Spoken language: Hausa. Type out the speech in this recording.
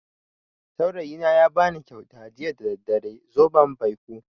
Saurayina ya bani kyauta jiya da daddare, zoben baiko.